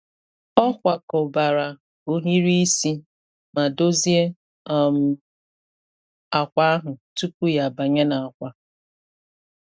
Ọ kwakọbara ohiri isi ma dozie um akwa ahụ tupu ya abanye n’akwa.